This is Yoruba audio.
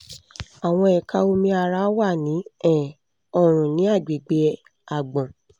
àwọn ẹ̀ka omi ara wà ní um ọrùn ní agbègbè àgbọ̀n